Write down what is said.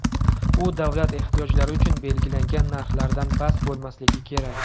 U davlat ehtiyojlari uchun belgilangan narxlardan past bo‘lmasligi kerak.